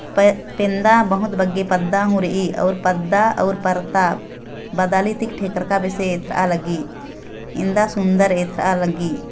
प पेंदा बहुत बग्गे पद्दा हु रई अउर पद्दा अउ परता बदालति ठेकर का बिसे आ लगी इंदा सुन्दर एथरा लगी।